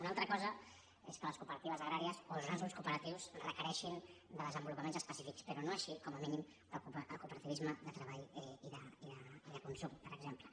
una altra cosa és que les cooperatives agràries o els grans grups cooperatius requereixin desenvolupaments específics però no així com a mínim el cooperativisme de treball i de consum per exemple